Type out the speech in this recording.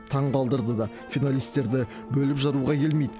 таңғалдырды да финалистерді бөліп жаруға келмейді